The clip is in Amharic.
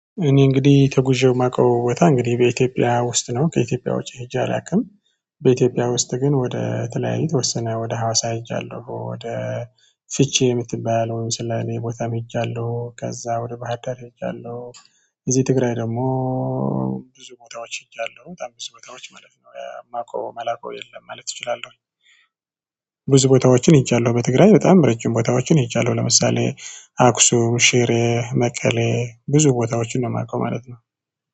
እኔ እንግዲ ተጉዤው ማቀው ቦታ እንግዲ በኢትዮጵያ ውስጥ ነው ከኢትዮጵያ ውጪ ሄጄ አላቅም። በኢትዮጵያ ውስጥ ግን ወደ ተለያየ የተወሰነ ወደ ሀዋሳ ሄጃለሁ ወደ ፍቼ ምትባለውም ሰላሌ ቦታም ሄጃለሁ ከዛ ወደ ባህር ዳር ሄጃለው። እዚ ትግራይ ደሞ። ብዙ ቦታዎች ሄጃለሁ በጣም ብዙ ቦታዎች ማለት ነው ማቀው ማላቀው የለም ማለት እችላለሁኝ። ብዙ ቦታዎችን ሄጃለው በትግራይ በጣም ረጅም ቦታዎችን ሄጃለው ለምሳሌ አክሱም ሽሬ መቀሌ ብዙ ቦታዎችን ነው ማቀው ማለት ነው